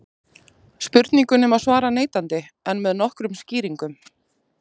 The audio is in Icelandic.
Spurningunni má svara neitandi en með nokkrum skýringum.